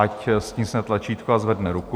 Ať stiskne tlačítko a zvedne ruku.